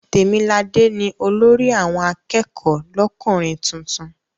Tèmiladé ni olórí àwọn akẹ́kọ̀ọ́ lọ́kùnrin tuntun.